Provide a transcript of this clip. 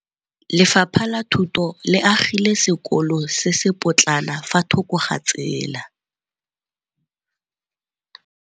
Lefapha la Thuto le agile sekôlô se se pôtlana fa thoko ga tsela.